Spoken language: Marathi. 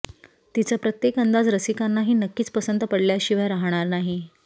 तिचा प्रत्येक अंदाज रसिकांनाही नक्कीच पसंत पडल्याशिवाय राहणार नाही